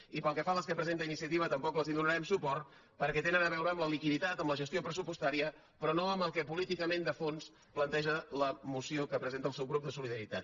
i pel que fa a les que presenta iniciativa tampoc no els donarem suport perquè tenen a veure amb la liquiditat amb la gestió pressupostària però no amb el que políticament de fons planteja la moció que presenta el subgrup de solidaritat